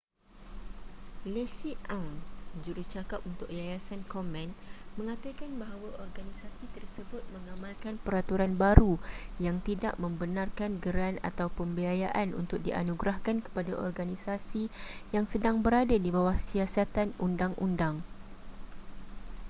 leslie aun jjurucakap untuk yayasan komen mengatakan bahawa organisasi tersebut mengamalkan peraturan baru yang tidak membenarkan geran atau pembiayaan untuk dianugerahkan kepada organisasi yang sedang berada di bawah siasatan undang-undang